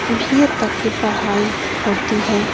BA. तक की पढ़ाई होती है।